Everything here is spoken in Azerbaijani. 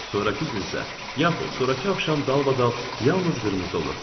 Sonrakı gün isə, yaxud sonrakı axşam dalbadal yalnız qırmızı olur.